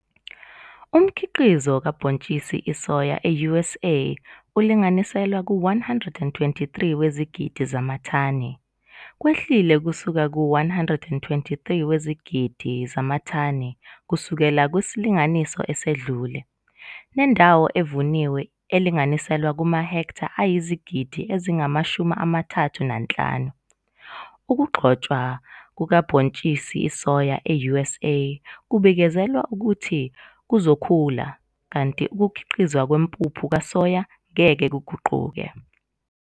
Umkhiqizo kabhontshis isoya e-USA ulinganiselwa ku-123 wezigidi zamathani, kwehlile kusuka ku-123 wezigidi zamathani kusukela kusilinganiso esedlule, nendawo evuniwe elinganiselwa kuma-hektha ayizigidi ezingama-35. Ukugxotshwa kukabhontshisi isoya e-USA kubikezelwa ukuthi kuzokhula kanti ukukhiqizwa kwempuphu kasoya ngeke kuguquke.